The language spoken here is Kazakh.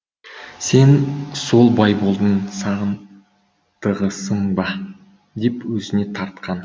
сен сол байболдың сағындығысың ба деп өзіне тартқан